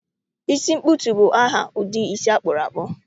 Isi nkpụtu bụ aha ụdị isi akpụrakpụ